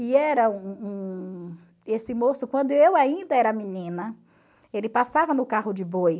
E era um um... Esse moço, quando eu ainda era menina, ele passava no carro de boi.